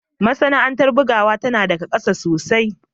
Masana'antar bugawa tana da gasa sosai